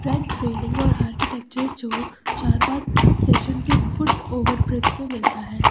और आर्किटेक्चर जो चारबाग स्टेशन के फुट ओवर ब्रिज से मिलता है।